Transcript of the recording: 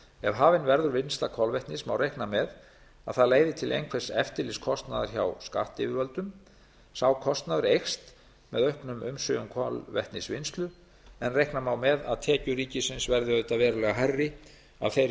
ef hafin verður vinnsla kolvetnis má reikna með að það leiði til einhvers eftirlitskostnaðar hjá skattyfirvöldum sá kostnaður eykst með auknum umsvifum kolvetnisvinnslu en reikna má með að tekjur ríkisins verði auðvitað verulega hærri af þeirri